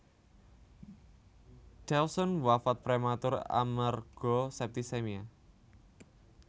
Dawson wafat prematur amerga septicaemia